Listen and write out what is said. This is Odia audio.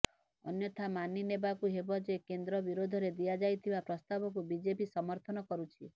ଅନ୍ୟଥା ମାନିନେବାକୁ ହେବ ଯେ କେନ୍ଦ୍ର ବିରୋଧରେ ଦିଆଯାଇଥିବା ପ୍ରସ୍ତାବକୁ ବିଜେପି ସମର୍ଥନ କରୁଛି